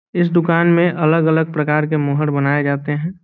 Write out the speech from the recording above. इस दुकान में अलग-अलग प्रकार के मोहर बनाये जाते है।